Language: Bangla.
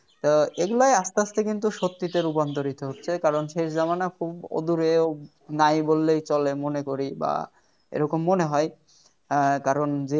এগুলাই আসতে আসতে কিন্তু সত্যি তো রূপান্তরিত হচ্ছে কারণ শেষ জামানা খুব দূরে নাই বললেই চলে মনে করি বা এরকম মনে হয় আহ কারণ যে